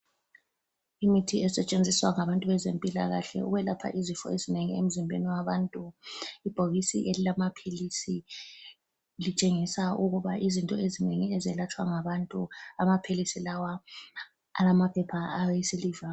lmithi esetshenziswa ngabantu bezempilakahle ukwelapha izifo ezinengi emzimbeni wabantu. Ibhokisi elilamaphilisi litshengisa ukuba izinto ezinengi ezelatshwa ngabantu amaphilisi lawa alamaphepha awesiliva.